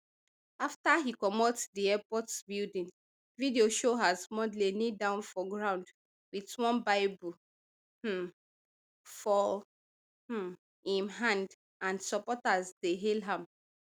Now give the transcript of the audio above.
afta e comot di airport building video show as mondlane kneel down for ground wit one bible um for um im hand and supporters dey hail am